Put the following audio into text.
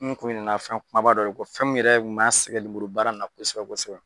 N kun ɲinɛna fɛn kumaba dɔ de kɔ fɛn mun yɛrɛ kun b'a sɛgɛn lemuru baara nin na ko kosɛbɛ kosɛbɛ.